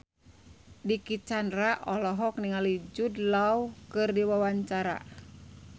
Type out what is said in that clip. Dicky Chandra olohok ningali Jude Law keur diwawancara